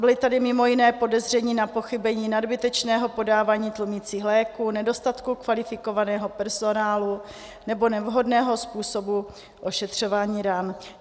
Byla tady mimo jiné podezření na pochybení nadbytečného podávání tlumicích léků, nedostatku kvalifikovaného personálu nebo nevhodného způsobu ošetřování ran.